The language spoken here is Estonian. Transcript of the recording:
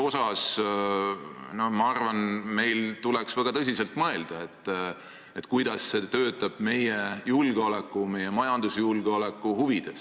Ja ma arvan, et meil tuleks väga tõsiselt mõelda, kuidas see töötab meie julgeoleku, meie majandusjulgeoleku huvides.